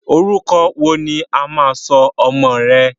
Orúkọ wo ni wà á sọ ọmọ rẹ?